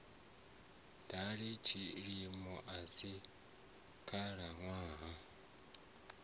dali tshilimo a si khalaṋwaha